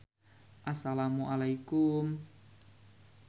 Assalamualaikum